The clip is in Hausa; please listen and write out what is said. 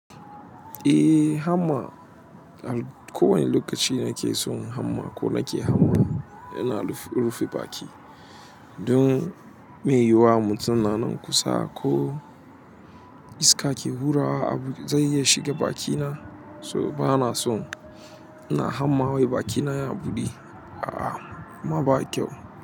Eh, hamma. Ko wani lokaci na ke son hamma ko na ke hamma ina rufe baki. Don me yiwuwa mutum na nan kusa ko iska ke hurawa abu zan iya shiga bakina so ba na so. Ina hamma wai bakina ya buɗe. A'a ma ba kyau.